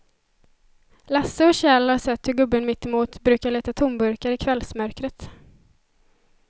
Lasse och Kjell har sett hur gubben mittemot brukar leta tomburkar i kvällsmörkret.